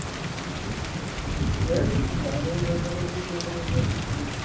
சரி யாரோ எப்படி இருந்தாலும் வீட்டுக்கு வந்தவன் இங்க இருந்தா போதும்